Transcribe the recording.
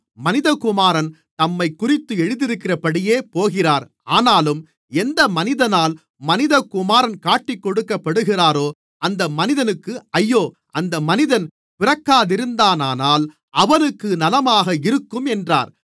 மனிதகுமாரன் தம்மைக்குறித்து எழுதியிருக்கிறபடியே போகிறார் ஆனாலும் எந்த மனிதனால் மனிதகுமாரன் காட்டிக்கொடுக்கப்படுகிறாரோ அந்த மனிதனுக்கு ஐயோ அந்த மனிதன் பிறக்காதிருந்தானானால் அவனுக்கு நலமாக இருக்கும் என்றார்